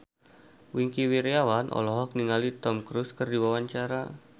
Wingky Wiryawan olohok ningali Tom Cruise keur diwawancara